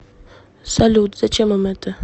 салют зачем им это